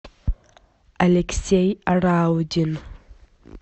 алексей раудин